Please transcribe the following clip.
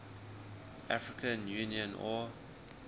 african union au